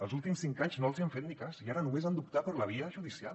els últims cinc anys no els han fet ni cas i ara només han d’optar per la via judicial